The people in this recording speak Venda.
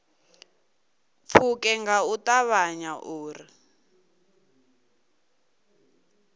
pfuke nga u ṱavhanya uri